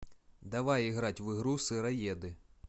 давай играть в игру сыроеды